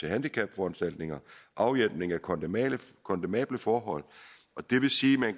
handicapforanstaltninger afhjælpning af kondemnable kondemnable forhold det vil sige at man